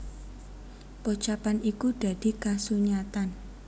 Pocapan iku dadi kasunyatan